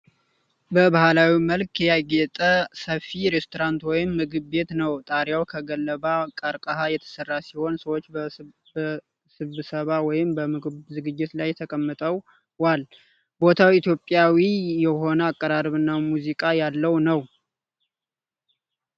በባህላዊ መልክ ያጌጠ ሰፊ ሬስቶራንት ወይም ምግብ ቤት ነው ። ጣሪያው ከገለባ/ቀርከሃ የተሰራ ሲሆን ፣ ሰዎች በስብሰባ ወይም በምግብ ዝግጅት ላይ ተቀምጠዋል። ቦታው ኢትዮጵያዊ የሆነ አቀራረብ እና ሙዚቃ ያለው ነው።